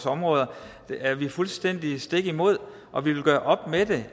områder er vi fuldstændig stik imod og vi vil gøre op med